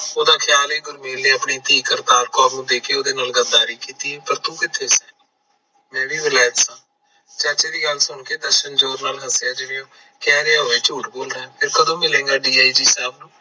ਉਹਦਾ ਖਿਆਲ ਗੁਰਮੇਲ ਐ ਆਪਣੀ ਧੀ ਕੌਰ ਨੂੰ ਦੇਖੇ ਓਹਦੇ ਨਾਲ ਗੱਦਾਰੀ ਕੀਤੀ ਐ ਪਰ ਤੂੰ ਕਿਥੇ। ਮੈਂ ਵੀ ਵੈਲਾਇਤ ਸਾਂ, ਚਾਚੇ ਦੀ ਗੱਲ ਸੁਣ ਕੇ ਦਰਸ਼ਨ ਜ਼ੋਰ ਨਾਲ ਹੱਸਿਆ ਜਿਵੇਂ ਉਹ ਕਹਿ ਰਿਹਾ ਝੂਠ ਬੋਲਿਆ ਫਿਰ ਕਦੋਂ ਮਿਲੇਗਾ ਡੀ ਆਈ ਜੀ ਸਾਹਿਬ ਨੂੰ